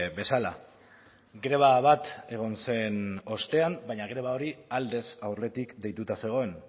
bezala greba bat egon zen ostean baina greba hori aldez aurretik deituta zegoen